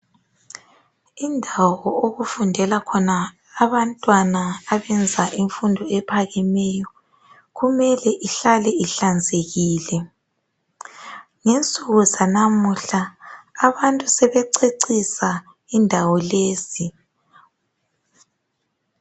Indawo okufundela khona abantwana abenza imfundo ephakemeyo kumele ihlale ihlanzekile. Ngensuku zanamuhla abantu sebececisa indawo lezi.